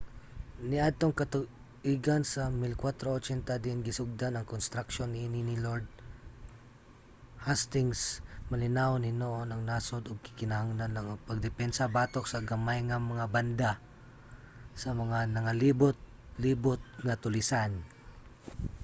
niadtong katuigan sa 1480 diin gisugdan ang konstruksyon niini ni lord hastings malinawon hinuon ang nasod ug gikinahanglan lang ang pagdepensa batok sa gagmay nga mga banda sa mga nagalibotlibot nga tulisan